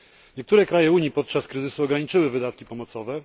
Niektóre kraje Unii podczas kryzysu ograniczyły wydatki pomocowe.